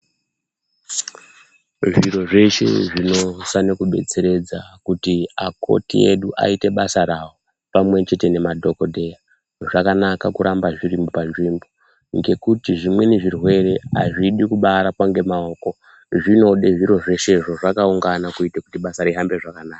Zviro zveshe zvinofane kudetseredza kuti akoti edu aite basa rawo pamwechete nemadhokodheya zvakanaka kuramba zviri panzvimbo ngekuti zvimweni zvirwere azvidi kubarapa ngemaoko zvinode zviro zveshezvo zvakaungana kuite kuti basa rihambe zvakanaka.